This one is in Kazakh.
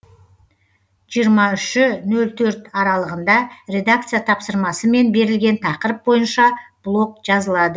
жиырма үші нөл төрт аралығында редакция тапсырмасымен берілген тақырып бойынша блог жазылад